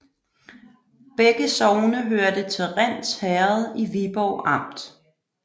Begge sogne hørte til Rinds Herred i Viborg Amt